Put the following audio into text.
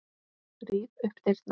Ríf upp dyrnar.